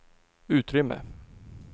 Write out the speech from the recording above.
utrymme